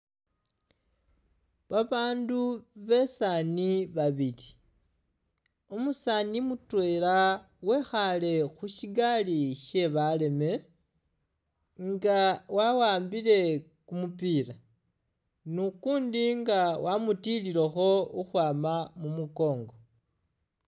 Babaandu besaani babili, umusaani mutweela wekhaale khushigaali she baleeme nga wa'ambile kumupiila ne ukundi nga wamutililekho khukhwama mumukongo